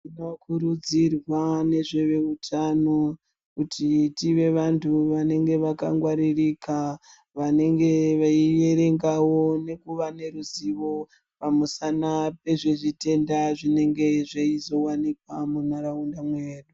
Tinokurudzirwa ngezvehutano kuti tive vanhu vanenge vakangwaririka vanenge veiverengawo ne kuva neruzivo pamusana pezvezvitenda zvinenge zveizowanikwa mundaraunda mwedu.